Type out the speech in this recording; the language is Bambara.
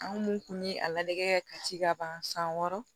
An mun kun bɛ a ladege kɛ ka ci ka ban san wɔɔrɔ